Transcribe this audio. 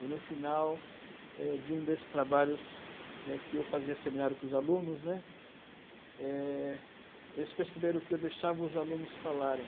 E no final éde um desses trabalhos né que eu fazia seminário com os alunos, né, é eles perceberam que eu deixava os alunos falarem.